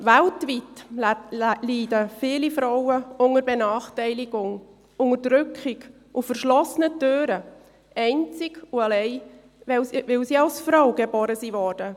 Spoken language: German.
Weltweit leiden viele Frauen unter Benachteiligung, Unterdrückung und verschlossenen Türen – einzig und allein, weil sie als Frauen geboren wurden.